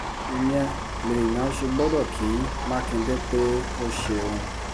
ìyẹn lèèyàn ṣe gbọ́dọ̀ kí mákindé pé ó ṣeun